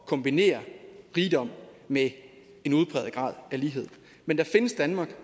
kombinere rigdom med en udpræget grad af lighed men der findes danmark